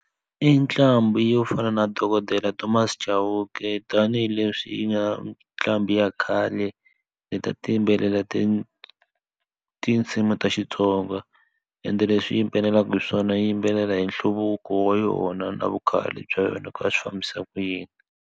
I ntlambu yo fana na dokodela Thomas Chauke tanihileswi yi nga ntlambi ya khale le ti a ti yimbelela ti tinsimu ta Xitsonga ende leswi yimbelelaka hi swona yi yimbelela hi nhluvuko wa yona na vu khale bya yona ku a swi fambisa ku yini.